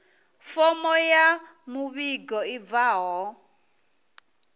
fomo ya muvhigo i bvaho